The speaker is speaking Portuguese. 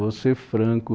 Vou ser franco.